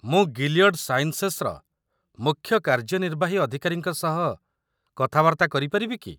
ମୁଁ ଗିଲିୟଡ଼ ସାଇନ୍ସେସର ମୁଖ୍ୟ କାର୍ଯ୍ୟନିର୍ବାହୀ ଅଧିକାରୀଙ୍କ ସହ କଥାବାର୍ତ୍ତା କରିପାରିବି କି?